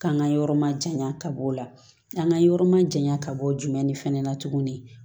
K'an ka yɔrɔ ma jaɲa ka bɔ o la an ka yɔrɔ ma janya ka bɔ o jumɛn ni fɛnɛ na tuguni